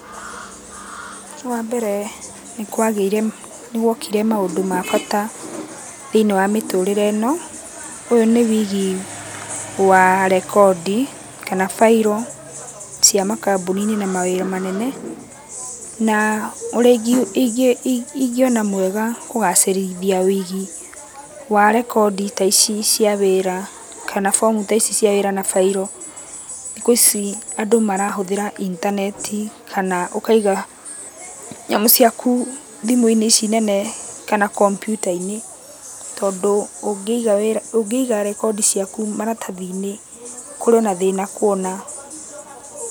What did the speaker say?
Wambere nĩkwagĩire nĩgwokire maũndũ ma bata thĩiniĩ wa mĩtũrĩre ĩno. Ũyũ nĩ wĩigi wa rekondi kana failũ cia makambũni-inĩ na mawĩra manene, na ũrĩa ingĩona mwega kũgacĩrithia wĩigi, wa rekondi ta ici cia wĩra, kana bomu ta ici cia wĩra na bairũ, thikũ ici andũ marahũthĩra intaneti kana ũkaiga nyamũ ciaku thimũ ici nene, kana kombiuta-inĩ, tondũ ũngĩiga wĩra ũngĩiga rekondi ciaku maratathi-inĩ, kũrĩ ona thĩna kuona.